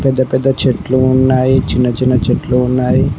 పెద్ద పెద్ద చెట్లు ఉన్నాయి చిన్న చిన్న చెట్లు ఉన్నాయి.